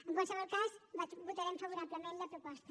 en qualsevol cas votarem favorablement la proposta